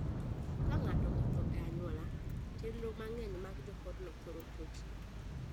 Ka ng'ato othoo e anyuaola, chenro mang'eny mag joodno thoro chochni.